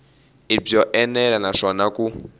i byo enela naswona ku